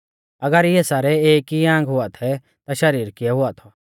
अगर इऐ सारै एक ई आंग हुआ थै ता शरीर किऐ हुआ थौ